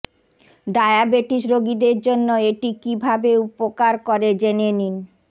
diabetes রোগীদের জন্য এটি কীভাবে উপকার করে জেনে নিন